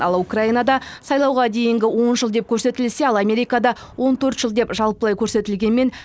ал украинада сайлауға дейінгі он жыл деп көрсетілсе ал америкада он төрт жыл деп жалпылай көрсетілгенімен